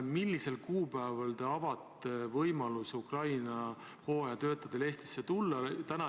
Millisel kuupäeval te avate Ukraina hooajatöötajatele võimaluse Eestisse tulla?